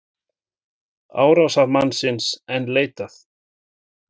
Árásarmannsins enn leitað